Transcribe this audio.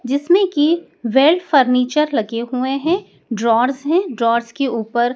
जिसमें की वेल्ड फर्नीचर लगे हुए हैं ड्रॉवर्स हैं ड्रॉवर्स के ऊपर --